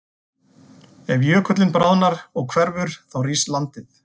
Ef jökullinn bráðnar og hverfur þá rís landið.